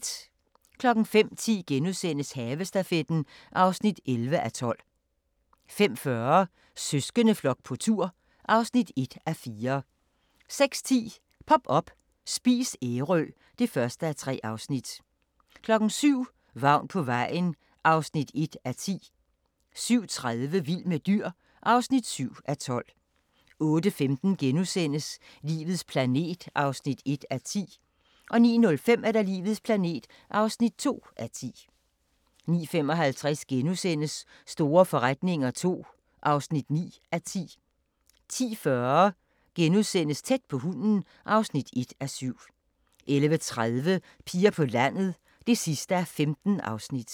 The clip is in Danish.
05:10: Havestafetten (11:12)* 05:40: Søskendeflok på tur (1:4) 06:10: Pop up – Spis Ærø (1:3) 07:00: Vagn på vejen (1:10) 07:30: Vild med dyr (7:12) 08:15: Livets planet (1:10)* 09:05: Livets planet (2:10) 09:55: Store forretninger II (9:10)* 10:40: Tæt på hunden (1:7)* 11:30: Piger på landet (15:15)